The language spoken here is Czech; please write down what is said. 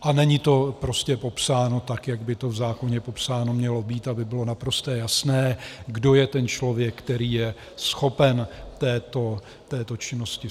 A není to prostě popsáno tak, jak by to v zákoně popsáno mělo být, aby bylo naprosto jasné, kdo je ten člověk, který je schopen této činnosti.